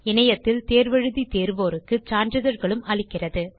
இணையத்தில் தேர்வு எழுதி தேர்வோருக்கு சான்றிதழ்களும் அளிக்கிறது